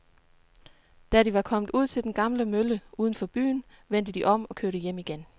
Da de var kommet ud til den gamle mølle uden for byen, vendte de om og kørte hjem igen.